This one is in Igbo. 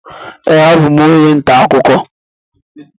Ee, abụ m onye nta akụkọ.